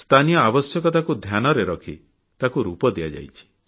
ସ୍ଥାନୀୟ ଆବଶ୍ୟକତାକୁ ଧ୍ୟାନରେ ରଖି ତାକୁ ରୂପ ଦିଆଯାଇଛି